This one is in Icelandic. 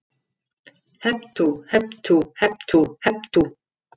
Hep tú, hep tú, hep tú, hep tú.